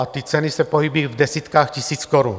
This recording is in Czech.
A ty ceny se pohybují v desítkách tisíc korun.